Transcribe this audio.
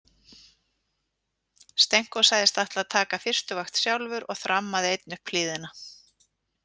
Stenko sagðist ætla að taka fyrstu vakt sjálfur og þrammaði einn upp hlíðina.